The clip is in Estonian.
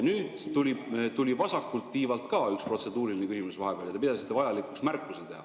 Nüüd tuli vahepeal vasakult tiivalt ka üks protseduuriline küsimus ja te pidasite vajalikuks märkuse teha.